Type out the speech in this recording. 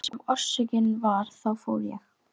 En hver sem orsökin var þá fór ég.